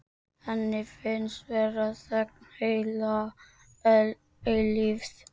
Henni finnst vera þögn heila eilífð.